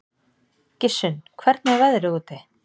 Gissunn, hvernig er veðrið úti?